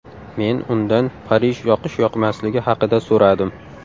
Men undan Parij yoqish-yoqmasligi haqida so‘radim.